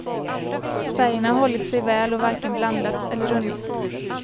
Färgerna har hållit sig väl och varken blandats eller runnit.